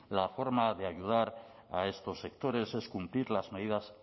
la forma de ayudar a estos sectores es cumplir las medidas